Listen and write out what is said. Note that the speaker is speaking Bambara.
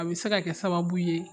A bɛ se ka kɛ sababu ye